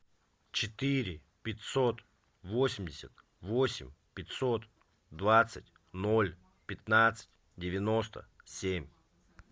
четыре пятьсот восемьдесят восемь пятьсот двадцать ноль пятнадцать девяносто семь